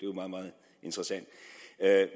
jo meget meget interessant